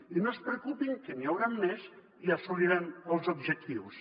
i no es preocupin que n’hi hauran més i assolirem els objectius